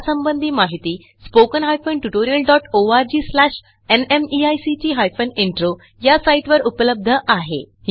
यासंबंधी माहिती spoken hyphen tutorial dot O R G slash NMEICT hyphen intro या साईटवर उपलब्ध आहे